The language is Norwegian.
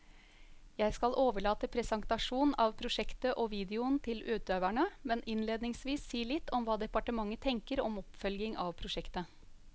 Jeg skal overlate presentasjon av prosjektet og videoen til utøverne, men innledningsvis si litt om hva departementet tenker om oppfølging av prosjektet.